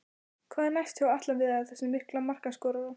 Hvað er næst hjá Atla Viðari, þessum mikla markaskorara?